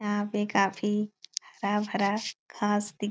यहाँ पे काफी हरा-भरा घास दिक --